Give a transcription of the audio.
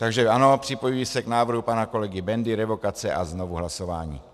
Takže ano, připojuji se k návrhu pana kolegy Bendy - revokace a znovu hlasování.